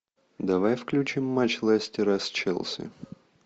давай включим матч лестера с челси